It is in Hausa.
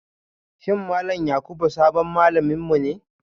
Shin Malam Yakubu sabon malaminmu ne